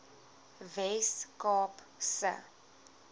wes kaap se